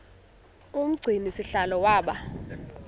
umgcini sihlalo waba